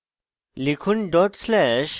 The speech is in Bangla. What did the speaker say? enter টিপুন